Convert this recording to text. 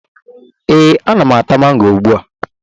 Ee, ana m ata mango ugbua